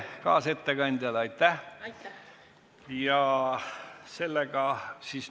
Kaasettekandjale aitäh!